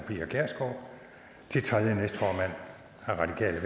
pia kjærsgaard til tredje næstformand har radikale